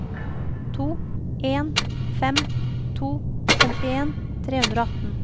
to en fem to femtien tre hundre og atten